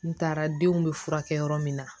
N taara denw bɛ furakɛ yɔrɔ min na